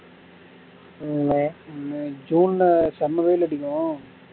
உம் May May June ல செம்ம வெயில் அடிக்கும்